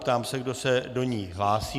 Ptám se, kdo se do ní hlásí.